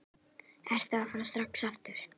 Ertu að fara strax aftur?